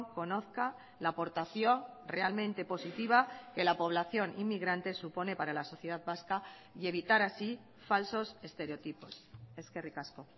conozca la aportación realmente positiva que la población inmigrante supone para la sociedad vasca y evitar así falsos estereotipos eskerrik asko